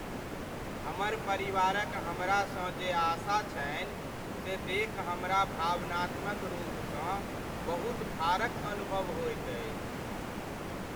हमर परिवारक हमरासँ जे आशा छनि से देखि हमरा भावनात्मक रूपसँ बहुत भारक अनुभव होइत अछि।